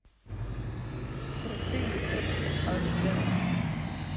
крутые кексы аш д